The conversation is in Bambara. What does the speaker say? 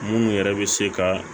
Munnu yɛrɛ bɛ se ka